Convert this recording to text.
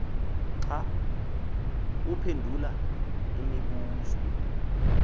xa uphendula imibuzo